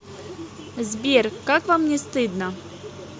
сбер как вам не стыдно